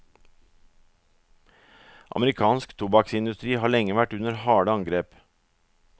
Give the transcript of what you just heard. Amerikansk tobakksindustri har lenge vært under harde angrep.